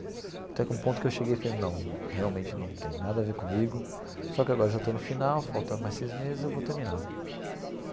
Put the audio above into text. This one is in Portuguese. Até que um ponto que eu cheguei e falei, não, realmente não tem nada a ver comigo, só que agora já estou no final, falta mais seis meses e eu vou terminar.